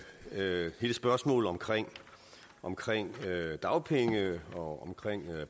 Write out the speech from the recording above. med hele spørgsmålet omkring omkring dagpenge og